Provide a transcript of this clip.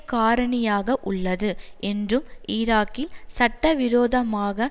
காரணியாக உள்ளது என்றும் ஈராக்கில் சட்ட விரோதமாக